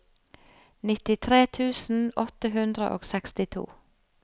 nittitre tusen åtte hundre og sekstito